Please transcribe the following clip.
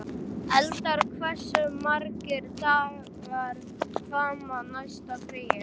Eldar, hversu margir dagar fram að næsta fríi?